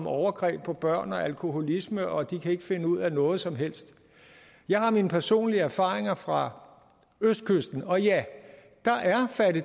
overgreb på børn og alkoholisme og at de ikke kan finde ud af noget som helst jeg har mine personlige erfaringer fra østkysten og ja